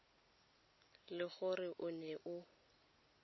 le gore o ne o